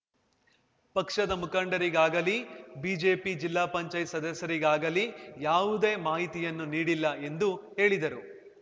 ಪಕ್ಷದ ಮುಖಂಡರಿಗಾಗಲೀ ಬಿಜೆಪಿ ಜಿಲ್ಲಾ ಪಂಚಾಯತ್ ಸದಸ್ಯರಿಗಾಗಲೀ ಯಾವುದೇ ಮಾಹಿತಿಯನ್ನೂ ನೀಡಿಲ್ಲ ಎಂದು ಹೇಳಿದರು